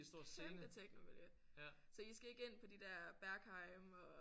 Kæmpe technomiljø! Så I skal ikke ind på de der Berghain og?